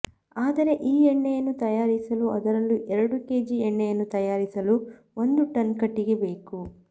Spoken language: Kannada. ಆದರೆ ಈ ಎಣ್ಣೆಯನ್ನು ತಯಾರಿಸಲು ಅದರಲ್ಲೂ ಎರಡು ಕೆಜಿ ಎಣ್ಣೆಯನ್ನು ತಯಾರಿಸಲು ಒಂದು ಟನ್ ಕಟ್ಟಿಗೆ ಬೇಕು